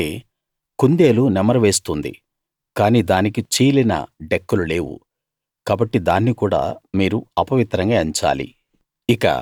అలాగే కుందేలు నెమరు వేస్తుంది కానీ దానికి చీలిన డెక్కలు లేవు కాబట్టి దాన్ని కూడా మీరు అపవిత్రంగా ఎంచాలి